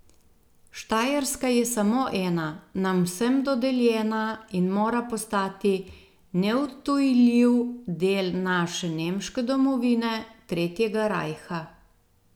Štajerska je samo ena, nam vsem dodeljena in mora postati neodtujljiv del naše nemške domovine, tretjega rajha.